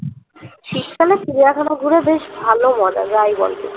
শীতকালে চিড়িয়াখানা ঘুরা বেশ ভালো মজা যা ই বল তুই